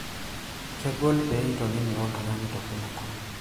kegol pee itonini oltung'ani torronok